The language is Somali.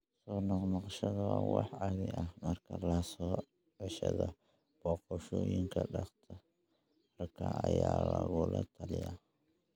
Soo noqnoqoshada waa wax caadi ah, markaa la socoshada booqashooyinka dhakhtarka ayaa lagula talinayaa.